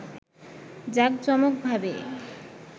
জাকজমকভাবে